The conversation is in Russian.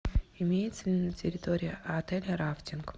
имеется ли на территории отеля рафтинг